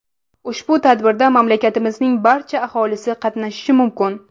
Ushbu tadbirda mamlakatimizning barcha aholisi qatnashishi mumkin.